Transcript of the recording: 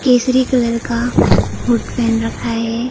Kesari colour का hood पहन रखा है।